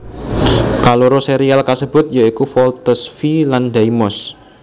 Kaloro serial kasebut ya iku Voltes V lan Daimos